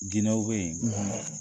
Ginɔw be ye